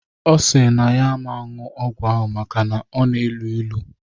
Ọ sịrị na ya aman ṅṅụ ọgwụ ahụ maka na ọ na-elu ilu